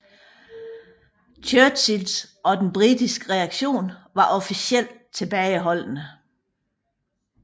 Churchills og den britiske reaktion var officielt tilbageholdende